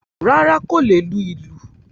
Rárá, kò lè lu ìlù.